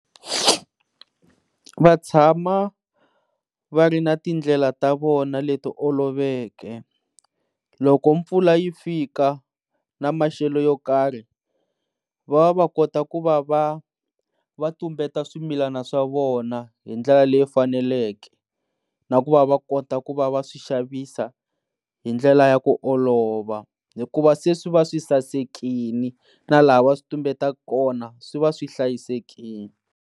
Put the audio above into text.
Va tshama va ri na tindlela ta vona leti oloveke loko mpfula yi fika na maxelo yo karhi, va va va kota ku va va va tumbeta swimilana swa vona hi ndlela leyi faneleke, na ku va kota ku va va swixavisiwa hi ndlela ya ku olova hikuva se swi va swi sasekile na laha va switumbeta kona swi va swi hlayisekile.